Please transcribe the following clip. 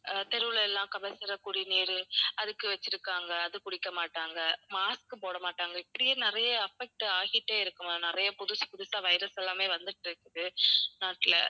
அஹ் தெருவில எல்லாம் கபசுர குடிநீர் அதுக்கு வச்சுருக்காங்க அதைக் குடிக்கமாட்டாங்க, mask உம் போடமாட்டாங்க. இப்படியே நிறைய affect ஆகிட்டே இருக்கு ma'am. நிறைய புதுசு புதுசா virus எல்லாமே வந்துட்டு இருக்குது நாட்டுல.